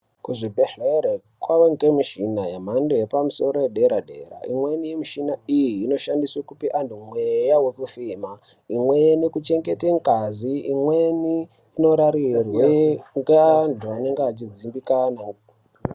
Kuzvibhedhlera kwavengemishina yemhando yepamusoro yedera-dera. Imweni mishini iyi inoshande kupe vantu mweya wekufema, imweni kuchengete ngazi, imweni marariya, imweni ngeyeantu anenge echidzimbikana.